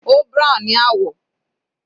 Ó brown ni àwọ̀.